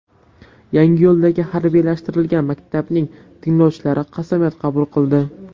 Yangiyo‘ldagi harbiylashtirilgan maktabning tinglovchilari qasamyod qabul qildi .